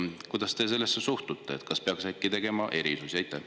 Kuidas te sellesse suhtute ja kas peaks äkki tegema erisusi?